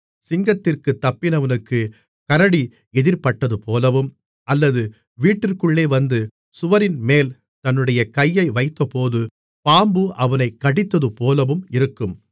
சிங்கத்திற்குத் தப்பினவனுக்குக் கரடி எதிர்ப்பட்டதுபோலவும் அல்லது வீட்டிற்குள்ளே வந்து சுவரின்மேல் தன்னுடைய கையை வைத்தபோது பாம்பு அவனைக் கடித்ததுபோலவும் இருக்கும்